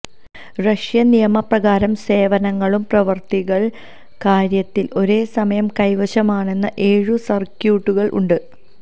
Russian നിയമപ്രകാരം സേവനങ്ങളും പ്രവൃത്തികൾ കാര്യത്തിൽ ഒരേ സമയം കൈവശമാണെന്ന് ഏഴു സർക്യൂട്ടുകൾ ഉണ്ട്